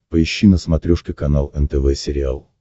поищи на смотрешке канал нтв сериал